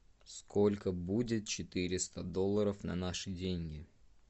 сколько будет четыреста долларов на наши деньги